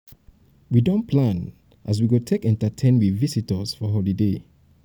we don plan as we go take entertain we visitors for holiday.